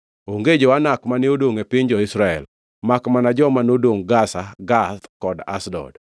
Onge jo-Anak mane odongʼ e piny jo-Israel; makmana joma nodongʼ Gaza, Gath kod Ashdod.